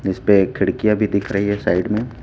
इस पे खिड़कियां भी दिख रही है साइड में।